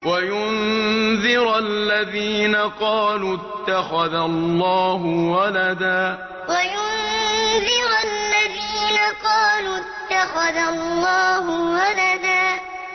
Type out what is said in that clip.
وَيُنذِرَ الَّذِينَ قَالُوا اتَّخَذَ اللَّهُ وَلَدًا وَيُنذِرَ الَّذِينَ قَالُوا اتَّخَذَ اللَّهُ وَلَدًا